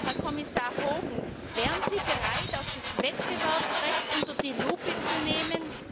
Herr Kommissar Hogan, wären Sie bereit, auch das Wettbewerbsrecht unter die Lupe zu nehmen?